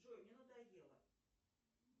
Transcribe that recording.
джой мне надоело